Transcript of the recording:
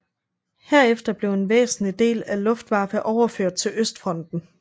Herefter blev en væsentlig del af Luftwaffe overført til Østfronten